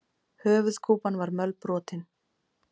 Höfuðkúpan var mölbrotin.